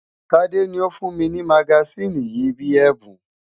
Tade ni ó fún mi ní magasíìnì yìí bíi ẹ̀bùn.